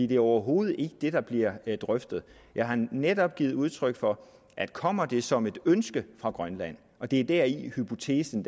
det er overhovedet ikke det der bliver drøftet jeg har netop givet udtryk for at kommer det som et ønske fra grønland og det er deri hypotesen